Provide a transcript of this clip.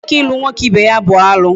Nwoke ilu nwoke ibe ya bụ alụ